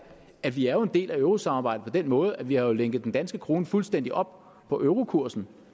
at vi er en del af eurosamarbejdet på den måde at vi jo har lænket den danske krone fuldstændig op på eurokursen